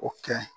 O kɛ